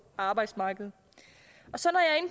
arbejdsmarkedet